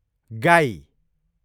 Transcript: गाई